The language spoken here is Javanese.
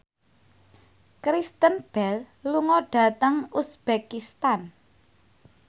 Kristen Bell lunga dhateng uzbekistan